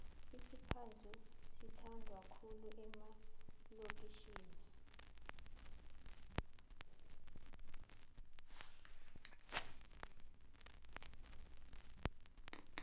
isiphadhlu sithandwa khulu emalokitjhini